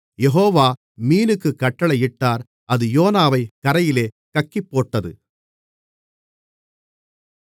யெகோவா மீனுக்குக் கட்டளையிட்டார் அது யோனாவைக் கரையிலே கக்கிப்போட்டது